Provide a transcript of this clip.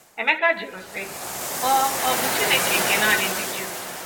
Emeka jụrụ sị, Ọ̀ Ọ̀ bụ Chineke nke nanị ndị Juu?